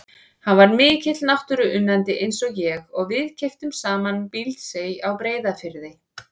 Hann var mikill náttúruunnandi eins og ég og við keyptum saman Bíldsey á Breiðafirði.